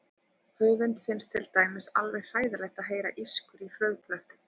Höfundi finnst til dæmis alveg hræðilegt að heyra ískur í frauðplasti.